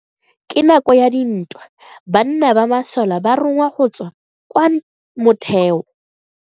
Ka nako ya dintwa banna ba masole ba rongwa go tswa kwa motheo.